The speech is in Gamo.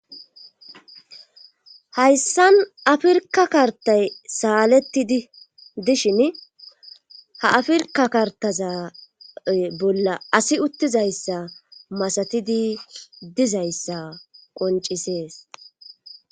hayssan afirka kartay saalettidi dishin ha afirka kartaza bolla asi uttizayssa masatidi dizayssa qoncisees